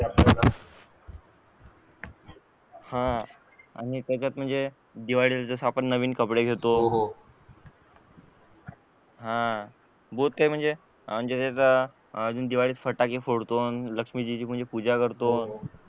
हा आणि त्याचात म्हणजे दिवाळीत नवीन कपडे घेतो हा ते म्हणजे दिवाळीत फटाके फोडतो लक्षमीची पूजा करतो